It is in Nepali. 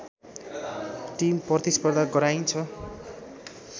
टिम प्रतिस्पर्धा गराइन्छ